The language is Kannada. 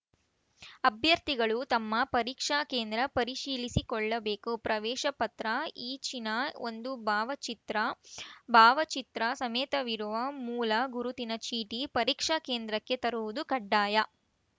ಅಭ್ಯರ್ಥಿಗಳು ತಮ್ಮ ಪರೀಕ್ಷಾ ಕೇಂದ್ರ ಪರಿಶೀಲಿಸಿಕೊಳ್ಳಬೇಕು ಪ್ರವೇಶ ಪತ್ರ ಈಚಿನ ಒಂದು ಭಾವಚಿತ್ರ ಭಾವಚಿತ್ರ ಸಮೇತವಿರುವ ಮೂಲ ಗುರುತಿನ ಚೀಟಿ ಪರೀಕ್ಷಾ ಕೇಂದ್ರಕ್ಕೆ ತರುವುದು ಕಡ್ಡಾಯ